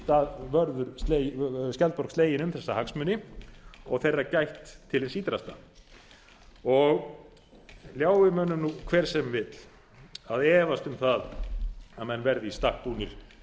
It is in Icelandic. það verði skjaldborg slegin um þessa hagsmuni og þeirra gætt til hins ýtrasta lái mönnum nú hver sem vill að efast um það að menn verði í stakk búnir